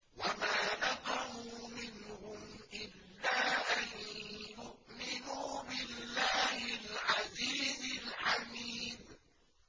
وَمَا نَقَمُوا مِنْهُمْ إِلَّا أَن يُؤْمِنُوا بِاللَّهِ الْعَزِيزِ الْحَمِيدِ